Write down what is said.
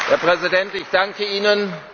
Herr Präsident, ich danke Ihnen.